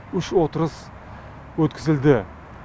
үш отырыс өткізілді